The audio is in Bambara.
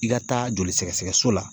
I ka taa joli sɛgɛsɛgɛ so la.